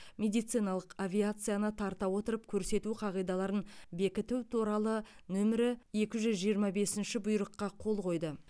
медициналық авиацияны тарта отырып көрсету қағидаларын бекіту туралы нөмірі екі жүз жиырма бесінші бұйрыққа қол қойды